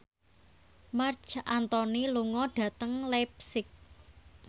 Marc Anthony lunga dhateng leipzig